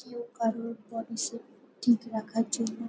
কেউ কারোর body shape ঠিক রাখার জন্য--